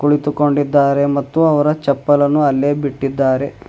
ಕುಳಿತುಕೊಂಡಿದ್ದಾರೆ ಮತ್ತು ಅವರ ಚಪ್ಪಲನ್ನು ಅಲ್ಲೇ ಬಿಟ್ಟಿದ್ದಾರೆ.